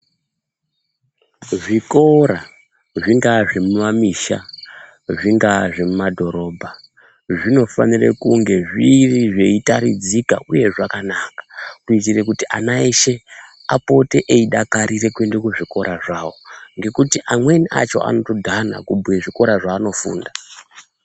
Zvikora zvingava zvemumamisha zvingava zvemumabhorodha zvinofanira kunge zviri zveifanira kutaridzika uye zvakanaka kuitira kuti ana eshe apote eidakarira kuenda kuzvikora zvawo nekuti amweni acho anotodhana kubhuya zvikora zvaanofunda.